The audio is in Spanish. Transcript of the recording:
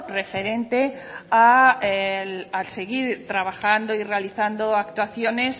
referente a seguir trabajando y realizando actuaciones